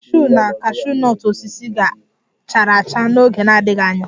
The cashew na cashew nut osisi ga-chara acha n'oge na-adịghị anya